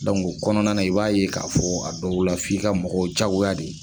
o kɔnɔna na i b'a ye k'a fɔ a dɔw la f'i ka mɔgɔw diyagoya de